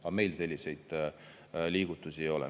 Aga meil selliseid liigutusi ei ole.